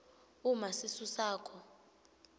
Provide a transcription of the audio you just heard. uma sisu sakho